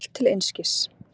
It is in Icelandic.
Allt til einskis.